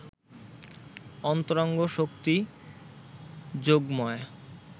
অন্তরঙ্গ শক্তি যোগমায়া